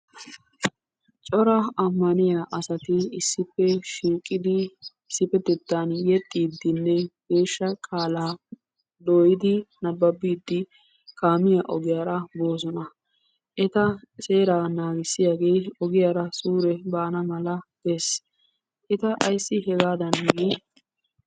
Cora Ammaniya asati issippe shiiqidi issippetettan yexxiiddinne geeshsha qaalaa dooyidi nabbabiiddi kaamiya ogiyara boosona. Eta seeraa naagissiyagee ogiyara suure baana mala gees. Eta ayssi hegaadan gii?